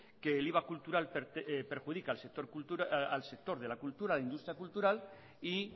que el iva cultural perjudica al sector de la cultura a la industria cultural y